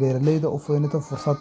in beeraleydu ay sameystaan fursad.